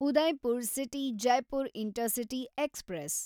Udaipur city Jaipur intercity express